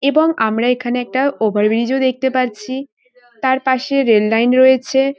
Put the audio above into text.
এবং আমরা এখানে একটা ওভার ব্রিজ -ও দেখতে পাচ্ছি। তার পাশে রেল লাইন রয়েছে।